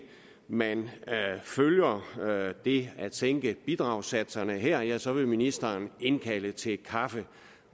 man følger det at sænke bidragssatserne her ja så vil ministeren indkalde til kaffe